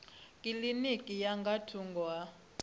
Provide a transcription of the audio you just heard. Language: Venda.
kilinikini ya nga thungo ha